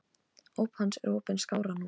Óp hans er opin skárra nú.